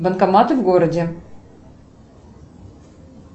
банкоматы в городе